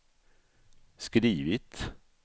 skrivit